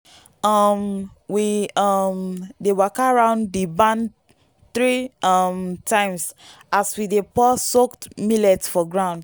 um we um dey waka round the barn three um times as we dey pour soaked millet for ground.